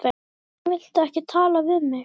Hvers vegna viltu ekki tala við mig?